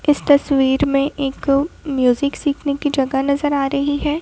इस तस्वीर में एक म्यूजिक सीखने की जगह नजर आ रही है।